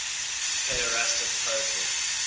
pederastic poetry